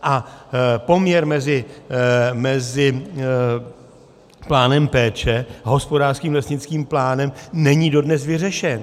A poměr mezi plánem péče a hospodářským lesnickým plánem není dodnes vyřešen.